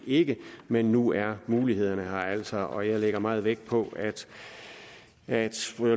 ikke men nu er mulighederne her altså og jeg lægger meget vægt på at